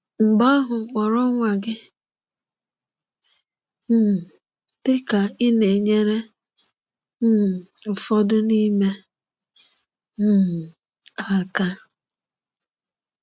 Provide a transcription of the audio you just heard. Mgbe ahụ kpọọrọ nwa gị um dịka ị na-enyere um ụfọdụ n'ime um ha aka.